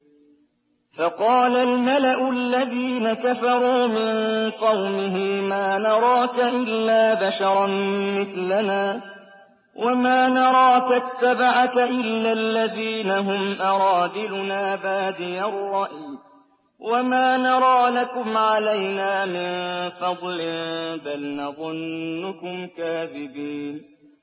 فَقَالَ الْمَلَأُ الَّذِينَ كَفَرُوا مِن قَوْمِهِ مَا نَرَاكَ إِلَّا بَشَرًا مِّثْلَنَا وَمَا نَرَاكَ اتَّبَعَكَ إِلَّا الَّذِينَ هُمْ أَرَاذِلُنَا بَادِيَ الرَّأْيِ وَمَا نَرَىٰ لَكُمْ عَلَيْنَا مِن فَضْلٍ بَلْ نَظُنُّكُمْ كَاذِبِينَ